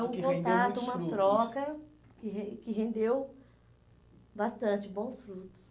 E que rendeu muitos frutos. Foi um contato, uma troca que ren que rendeu bastante bons frutos.